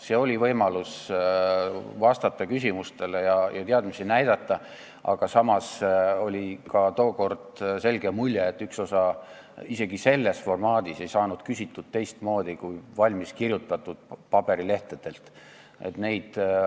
See oli võimalus vastata küsimustele ja teadmisi näidata, aga samas oli ka tookord selge mulje, et üks osa parlamendiliikmetest ei saanud isegi selles formaadis küsitud teistmoodi kui valmiskirjutatud küsimusi paberilehtedelt maha lugedes.